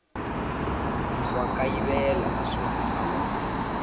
wa kayivela naswona a wu